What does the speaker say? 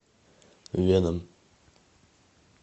веном